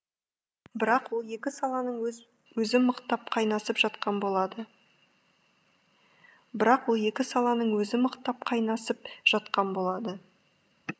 бірақ ол екі саланың өзі мықтап қайнасып жатқан болады бірақ ол екі саланың өзі мықтап қайнасып жатқан болады